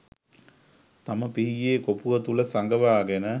තම පිහියේ කොපුව තුළ සඟවාගෙන